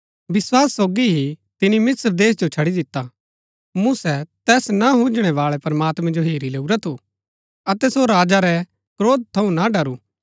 विस्वास सोगी ही तिनी मिस्र देश जो छड़ी दिता मूसा तैस ना हुजणै बाळै प्रमात्मैं जो हेरी लैऊरा थू अतै सो राजा रै क्रोध थऊँ ना डरू